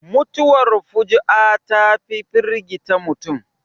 Mutuwar fuji'a ta fi firgita mutum